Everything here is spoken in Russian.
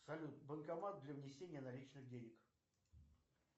салют банкомат для внесения наличных денег